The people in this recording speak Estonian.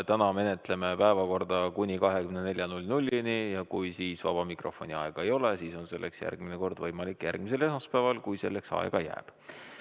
Täna me menetleme päevakorda kuni 24‑ni ja kui siis vaba mikrofoni aega ei ole, siis on selleks järgmine kord võimalus järgmisel esmaspäeval, kui selleks aega jääb.